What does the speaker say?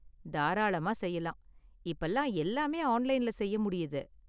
தாராளமா செய்யலாம்! இப்பலாம் எல்லாமே ஆன்லைன்ல செய்ய முடியுது.